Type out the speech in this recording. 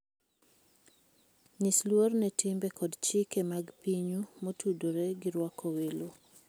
Nyis luor ne timbe kod chike mag pinyu motudore gi rwako welo.